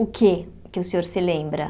O que é que o senhor se lembra?